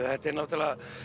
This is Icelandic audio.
þetta er náttúrlega